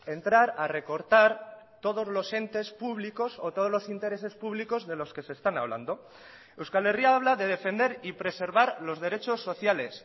entrar a recortar todos los entes públicos o todos los intereses públicos de los que se están hablando euskal herria habla de defender y preservar los derechos sociales